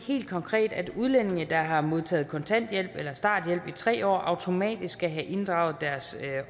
helt konkret at udlændinge der har modtaget kontanthjælp eller starthjælp i tre år automatisk skal have inddraget deres